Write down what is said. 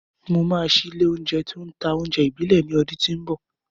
Mo máa ṣí ilé-oúnjẹ tó ń ta oúnjẹ ìbílẹ̀ ní ọdún tí ń bọ̀.